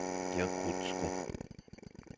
якутску